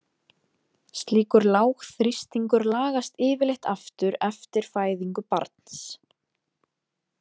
Slíkur lágþrýstingur lagast yfirleitt aftur eftir fæðingu barns.